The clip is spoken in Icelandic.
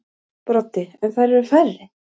Broddi: En þær eru færri.